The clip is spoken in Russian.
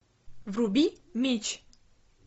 вруби меч